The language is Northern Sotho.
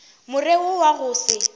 more wo wa go se